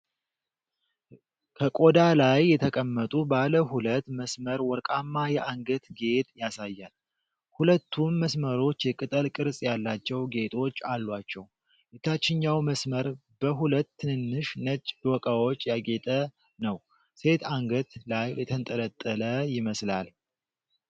ከቆዳ ላይ የተቀመጡ ባለ ሁለት መስመር ወርቃማ የአንገት ጌጥ ያሳያል። ሁለቱም መስመሮች የቅጠል ቅርጽ ያላቸው ጌጦች አሏቸው፤ የታችኛው መስመር በ ሁለት ትንንሽ ነጭ ዶቃዎች ያጌጠ ነው። ሴት አንገት ላይ የተንጠለጠለ ይመስላል።